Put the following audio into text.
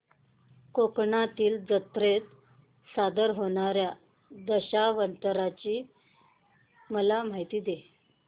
कोकणातील जत्रेत सादर होणार्या दशावताराची मला माहिती दे